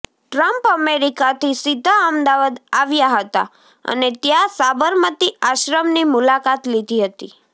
Trump અમેરિકાથી સીધા અમદાવાદ આવ્યા હતા અને ત્યાં સાબરમતી આશ્રમની મુલાકાત લીધી હતી